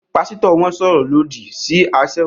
Pásítọ̀ wọn sọ̀rọ̀ lòdì sí aṣẹ́wó